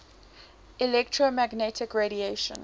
electromagnetic radiation